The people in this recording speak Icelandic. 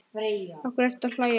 Af hverju ertu að hlæja?